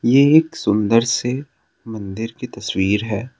ये एक सुंदर से मंदिर की तस्वीर है।